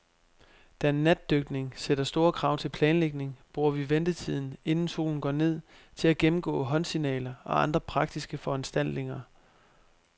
Da natdykning sætter store krav til planlægning, bruger vi ventetiden, inden solen går ned, til at gennemgå håndsignaler og andre praktiske foranstaltninger.